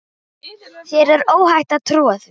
Þér er óhætt að trúa því.